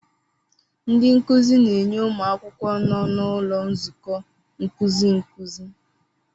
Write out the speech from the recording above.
Ndị nkuzi na-enye ụmụ akwụkwọ nọ n'ụlọ nzukọ nkuzi nkuzi.